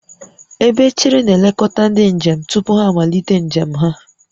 Ebe echere na-elekọta ndị njem tupu ha amalite njem ha